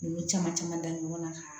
N y'o caman caman da ɲɔgɔn na